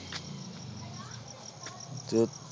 ਤੇ,